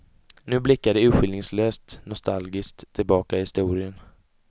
Nu blickar de urskiljningslöst nostalgiskt tillbaka i historien.